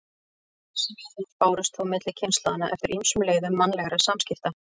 Þessi viðhorf bárust þó milli kynslóðanna eftir ýmsum leiðum mannlegra samskipta.